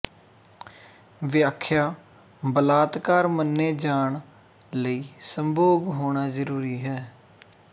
ਵਿਆਖਿਆ ਬਲਾਤਕਾਰ ਮੰਨੇ ਜਾਣ ਲਈ ਸੰਭੋਗ ਹੋਣਾ ਜ਼ਰੂਰੀ ਹੈ